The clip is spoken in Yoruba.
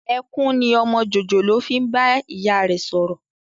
Ẹkún ni ọmọ jòjòló fi ń bá ìyá rẹ sọ̀rọ̀